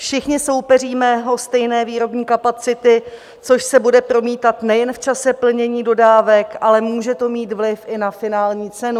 Všichni soupeříme o stejné výrobní kapacity, což se bude promítat nejen v čase plnění dodávek, ale může to mít vliv i na finální cenu.